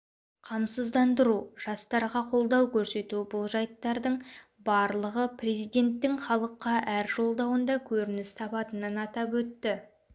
қамсыздандыру жастарға қолдау көрсету бұл жайттардың барлығы президенттің халыққа әр жолдауында көрініс табатынын атап өтті